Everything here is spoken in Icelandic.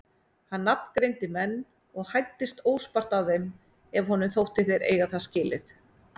Hann nafngreindi menn og hæddist óspart að þeim ef honum þótti þeir eiga það skilið.